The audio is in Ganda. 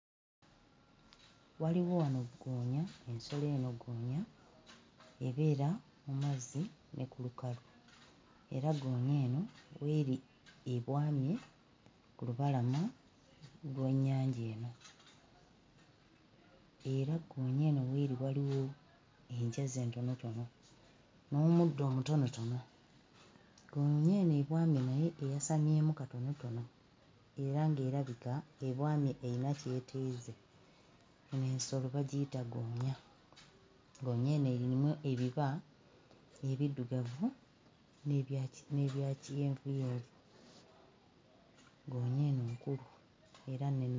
Waliwo wano ggoonya, ensolo eno goonya ebeera mu mazzi ne ku lukalu, era goonya eno w'eri ebwamye ku lubalama lw'ennyanja eno, era ggoonya eno w'eri waliwo enjazi entonotono n'omuddo omutonotono. Ggoonya eno ebwamye naye eyasamyemu katonotono era nga erabika ebwamye eyina ky'eteeze. Eno ensolo bagiyita ggoonya. Ggoonya eno eyina ebiba ebiddugavu n'ebyaki n'ebya kyenvuyenvu. Ggoonya eno nkulu era ne.